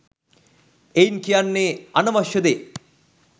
එයින් කියන්නේ අනවශ්‍ය දේ